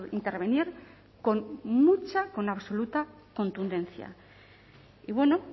intervenir con mucha con absoluta contundencia y bueno